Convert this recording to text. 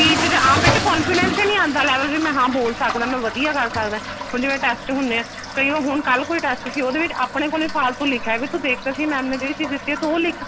speech ਦਾ ਆਪ ਇਹਦੇ ਚ confidence ਹੀ ਨਹੀਂ ਆਂਦਾ level ਵੀ ਹਾਂ ਮੈਂ ਬੋਲ ਸਕਦਾ ਮੈਂ ਵਧੀਆ ਕਰ ਸਕਦਾ ਹੁਣ ਜਿਵੇਂ test ਹੁੰਦੇ ਆ ਕਈ ਹੁਣ ਕੱਲ ਕੋਈ test ਸੀ ਉਹਦੇ ਵਿੱਚ ਆਪਣੇ ਕੋਲ ਹੀ ਫਾਲਤੂ ਲਿਖ ਆਇਆ ਵੀ ਤੂੰ ਦੇਖ ਤਾਂ ਸਹੀ ma'am ਨੇ ਜਿਹੜੀ ਚੀਜ ਦਿੱਤੀ ਏ ਤੂੰ ਉਹ ਲਿਖ